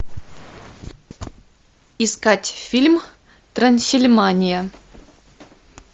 искать фильм трансильмания